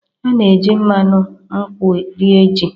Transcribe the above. A na-eji mmanụ nkwu rie ji.